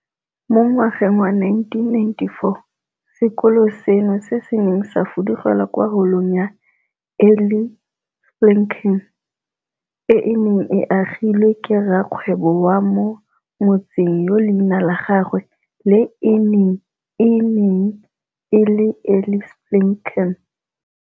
Mo ngwageng wa 1994, sekolo seno se ne sa fudugela kwa Holong ya Eli Spilkin, e e neng e agilwe ke rrakgwebo wa mo motseng yo leina la gagwe le ene e neng e le Eli Spilkin.